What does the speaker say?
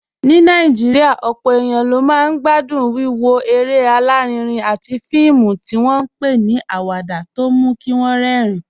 Ní Nàìjíríà, ọ̀pọ̀ èèyàn ló máa ń gbádùn wíwo eré alárinrin àti fíìmù tí wọ́n ń pè ní awada tó mú kí wọ́n rẹ́rìn-ín